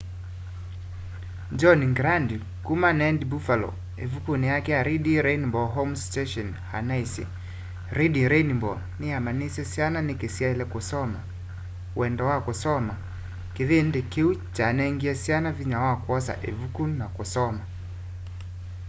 john grant kuma wned buffalo ivukuni yake reading rainbow home station anaisye reading rainbow niyamanyiisye syana niki syaile kusoma wendo wa kusoma - kivindi kiu kyanengie syana vinya wa kwosa ivuku na kusoma.